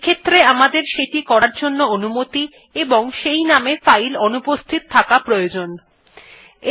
এক্ষেত্রে আমাদের সেটি করার অনুমতি থাকতে হবে ও সেই নামে ফাইল অনুপস্থিত থাকতে হবে